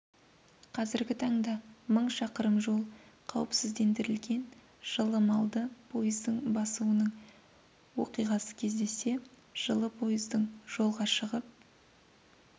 қазіргі таңда мың шақырым жол қауіпсіздендірілген жылы малды пойыздың басуының оқиғасы кездессе жылы пойыздың жолға шығып